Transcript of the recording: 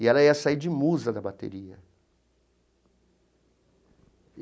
E ela ia sair de musa da bateria.